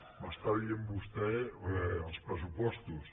m’està dient vostè els pressupostos